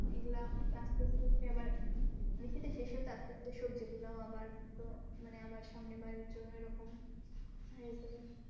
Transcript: এগুলা আসতে আসতে উঠসে আবার আবার সবজি গুলাও আবার মানে তো সামনে বারের জন্য আবার তো